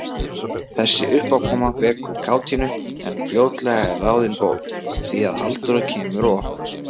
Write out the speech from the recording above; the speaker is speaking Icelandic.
Þessi uppákoma vekur kátínu, en fljótlega er ráðin bót, því að Halldóra kemur og opnar.